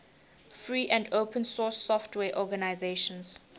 free and open source software organizations